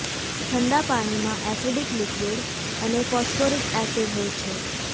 ઠંડા પીણામાં acidic liquid અને ફોસ્ફોરિક એસિડ હોય છે